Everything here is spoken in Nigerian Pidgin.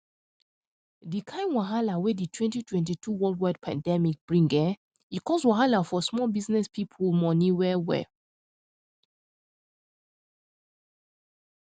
di kain wahala wey di 2022 worldwide pandemic bring eeh e cause wahala for small business people money well well